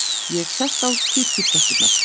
Ég sest á kirkjutröppurnar.